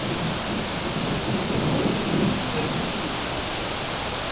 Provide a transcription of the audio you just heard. ugujwe futsi wentiwe